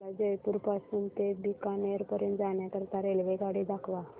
मला जयपुर पासून ते बीकानेर पर्यंत जाण्या करीता रेल्वेगाडी दाखवा